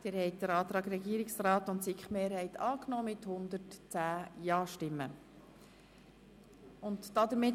Bei 0 Gegenstimmen und 0 Enthaltungen ist Ihre Haltung klar;